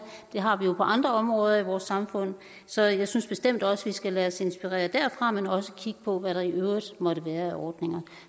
det har vi jo på andre områder i vores samfund så jeg synes bestemt også vi skal lade os inspirere derfra men også kigge på hvad der i øvrigt måtte være af ordninger